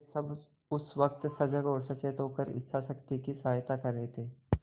वे सब इस वक्त सजग और सचेत होकर इच्छाशक्ति की सहायता कर रहे थे